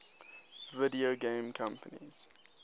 video game companies